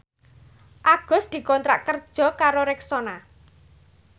Agus dikontrak kerja karo Rexona